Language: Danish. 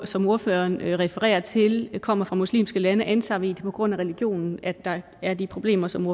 som ordføreren refererer til kommer fra muslimske lande antager det er på grund af religionen at der er de problemer som